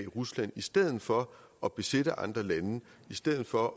rusland i stedet for at besætte andre lande i stedet for